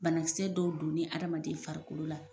Banakisɛ dɔw donni hadamaden farikolo la.